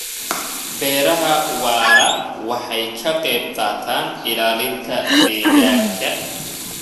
Beeraha waara waxay ka qayb qaataan ilaalinta deegaanka.